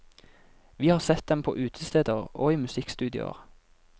Vi har sett dem på utesteder og i musikkstudioer.